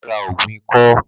Bàbá ra ògùn ikọ́